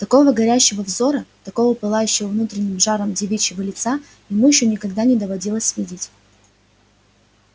такого горящего взора такого пылающего внутренним жаром девичьего лица ему ещё никогда не доводилось видеть